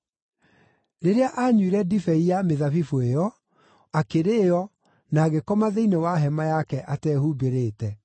Rĩrĩa aanyuire ndibei ya mĩthabibũ ĩyo, akĩrĩĩo, na agĩkoma thĩinĩ wa hema yake atehumbĩrĩte.